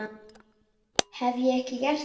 Hef ég ekki gert það?